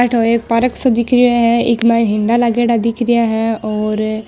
अठ ओ एक पार्क सो दिख रेया है एक माइन झुल्ला लागेडा दिख रेया है और --